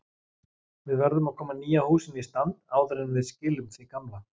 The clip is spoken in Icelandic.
Við verðum að koma nýja húsinu í stand áður en við skilum því gamla.